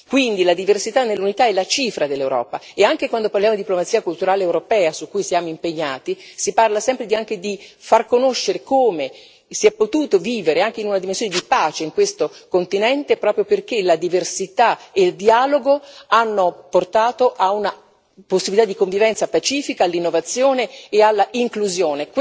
Quindi, la diversità nell'unità è la cifra dell'Europa e anche quando parliamo di diplomazia culturale europea, su cui siamo impegnati, si parla sempre anche di far conoscere come si è potuto vivere anche in una dimensione di pace in questo continente, proprio perché la diversità e il dialogo hanno portato a una possibilità di convivenza pacifica, all'innovazione e all'inclusione.